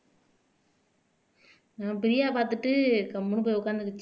இவன் பிரியாவை பார்த்துட்டு கம்முனு போய் உட்கார்ந்துக்கிச்சு